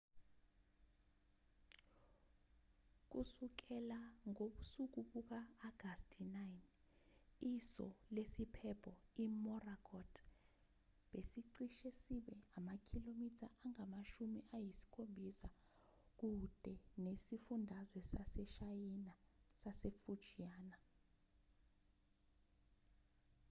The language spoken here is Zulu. kusukela ngobusuku buka-agasti 9 iso lesiphepho imorakot besicishe sibe amakhilomitha angamashumi ayisikhombisakude nesifundazwe saseshayina sasefujiana